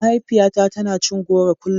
Mahaifiyata tana cin goro kullum.